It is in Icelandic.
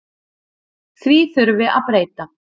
Því þurfi að breyta.